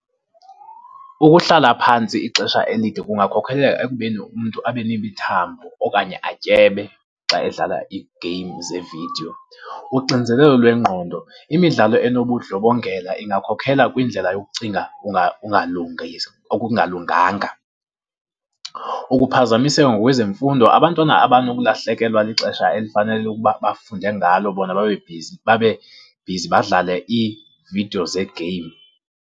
Ukuhlala phantsi ixesha elide kungakhokhelela ekubeni umntu abe nemithambo okanye atyebe xa edlala ii-games zevidiyo. Uxinizelelo lwengqondo, imidlalo enobundlobongela ingakhokhela kwindlela yokucinga ungalungiswa, okungalunganga. Ukuphazamiseka ngokwezemfundo, abantwana banokulahlekelwa lixesha elifanele ukuba bafunde ngalo bona babe bhizi, babe bhizi badlale iividiyo ze-game.